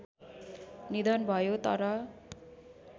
निधन भयो तर